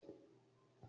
Máa pa ejò lóko ní ọ̀la